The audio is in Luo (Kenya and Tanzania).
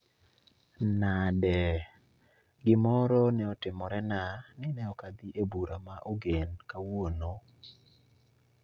Nade? Gimoro ne otimorena ni ne ok adhi e bura ma ogen kawuono